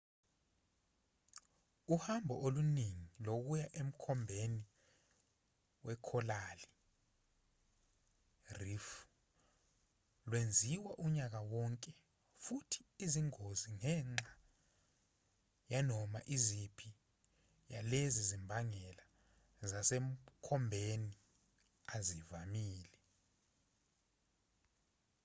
uhambo oluningi lokuya emkhombeni wekholali reef lwenziwa unyaka wonke futhi izingozi ngenxa yanoma iziphi yalezi zimbangela zasemkhombeni azivamile